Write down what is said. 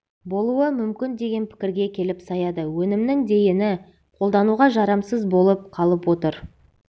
болуы мүмкін деген пікірге келіп саяды өнімнің дейіні қолдануға жарамсыз болып қалып отыр